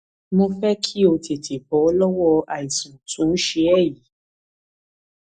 mo fẹ kí o o tètè bọ lọwọ àìsàn tó ń ṣe ẹ yìí